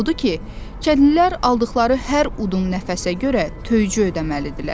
Odur ki, kəndlilər aldıqları hər udum nəfəsə görə töycü ödəməlidirlər.